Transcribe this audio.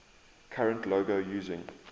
current logo using